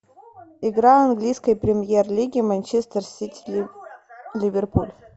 игра английской премьер лиги манчестер сити ливерпуль